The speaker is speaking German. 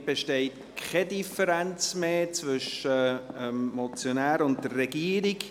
Damit besteht keine Differenz mehr zwischen dem Motionär und der Regierung.